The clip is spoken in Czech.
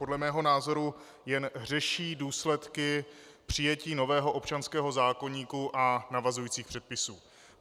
Podle mého názoru jen řeší důsledky přijetí nového občanského zákoníku a navazujících předpisů.